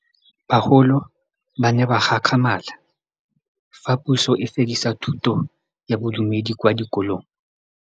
Bagolo ba ne ba gakgamala fa Pusô e fedisa thutô ya Bodumedi kwa dikolong.